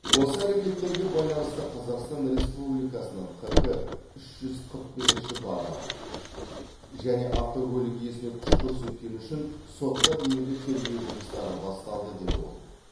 осы әрекеттерге байланысты қазақстан республикасының қк үш жүз қырық бесінші бабы және автокөлік иесіне күш көрсеткені үшін сотқа дейінгі тергеу жұмыстары басталды деді ол